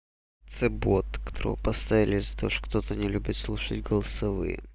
ц бот которого поставили из-за то что кто-то не любит слушать голосовые